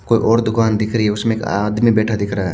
कोई और दूकान दिख रही है उसमे एक आदमी बेठा दिख रहा है।